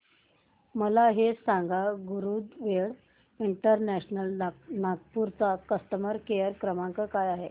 मला हे सांग गरुडवेग इंटरनॅशनल नागपूर चा कस्टमर केअर क्रमांक काय आहे